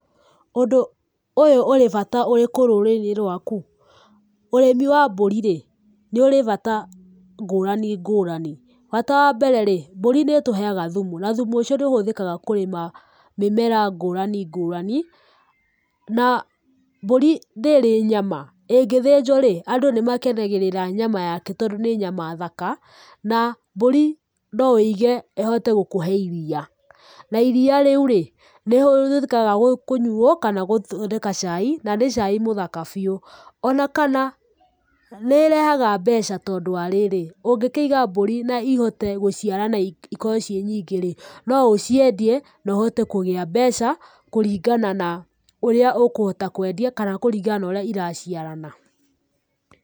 Ũndũ ũyũ ũrĩ bata ũrĩkũ rũrĩrĩ-inĩ rwaku? Ũrĩmi wa mbũri-rĩ, nĩ ũrĩ bata ngũrani ngũrani. Bata wa mbere rĩ, mbũri nĩ ĩtũheaga thumu na thumu ũcio nĩũhũthĩkaga kũrĩma mĩmera ngũrani ngũrani na mbũri nĩ ĩrĩ nyama, ĩngĩthĩnjwo-rĩ, andũ nĩ makenagĩrĩra nyama yake tondũ nĩ nyama thaka na mbũri no ũige ĩhote gũkũhe iria. Na iria rĩu-rĩ, nĩrĩhũthĩkaga kũnyuo kana gũthondeka cai na nĩ cai mũthaka biũ. O na kana nĩĩrehaga mbeca tondũ wa rĩrĩ, ũngĩkĩiga mbũri na ihote gũciarana-rĩ ikorwo ciĩ nyingĩ-rĩ, no ũciendie na ũhote kũgĩa mbeca kũringana na ũrĩa ũkũhota kwendia kana kũringana na ũrĩa iraciarana.